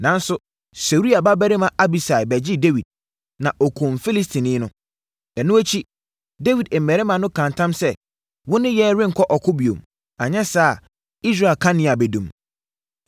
Nanso, Seruia babarima Abisai bɛgyee Dawid, na ɔkumm Filistini no. Ɛno akyi, Dawid mmarima no kaa ntam sɛ, “Wo ne yɛn renkɔ ɔko bio. Anyɛ saa a, Israel kanea bɛdum.”